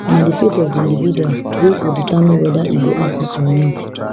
na di faith of di individual wey go determine weda e go happun or not